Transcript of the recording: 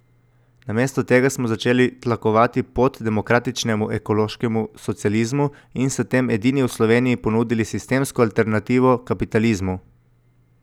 Namesto tega smo začeli tlakovati pot demokratičnemu ekološkemu socializmu in s tem edini v Sloveniji ponudili sistemsko alternativo kapitalizmu.